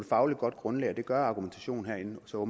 fagligt grundlag det gør argumentationen herinde så